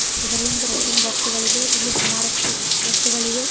ಇದರಿಂದ ರಟ್ಟಿನ ಬಾಕ್ಸುಗಳೇವೆ ಇಲ್ಲಿ ಸುಮಾರಷ್ಟು ವಸ್ತುಗಳಿವೆ.